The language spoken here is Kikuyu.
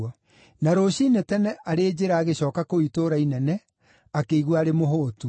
Na rũciinĩ tene, arĩ njĩra agĩcooka kũu itũũra inene, akĩigua arĩ mũhũũtu.